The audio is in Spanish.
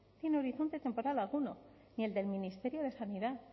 tiene horizonte temporal alguno ni el del ministerio de sanidad